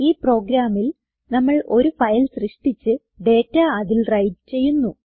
ഈ പ്രോഗ്രാമിൽ നമ്മൾ ഒരു ഫയൽ സൃഷ്ടിച്ച് ഡേറ്റ അതിൽ വ്രൈറ്റ് ചെയ്യുന്നു